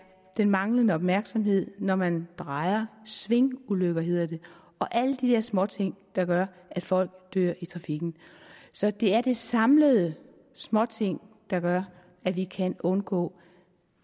den manglende opmærksomhed når man drejer svingulykker hedder det og alle de dér småting der gør at folk dør i trafikken så det er de samlede småting der gør at vi kan undgå